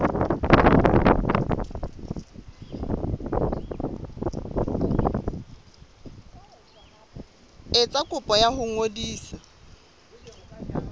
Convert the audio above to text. etsa kopo ya ho ngodisa